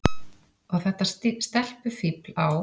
Og þetta stelpufífl á